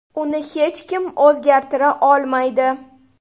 Uni hech kim o‘zgartira olmaydi.